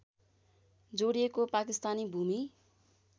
जोडिएको पाकिस्तानी भूमि